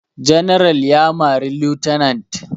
General ya mari lieutenant